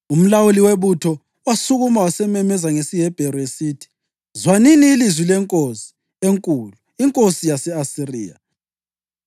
Umlawuli webutho wasukuma wasememeza ngesiHebheru esithi, “Zwanini ilizwi lenkosi enkulu, inkosi yase-Asiriya!